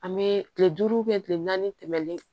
An bɛ tile duuru tile naani tɛmɛlen